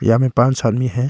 यहाँ में पाँच आदमी हैं।